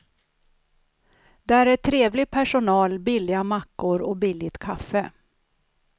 Där är trevlig personal, billiga mackor och billigt kaffe.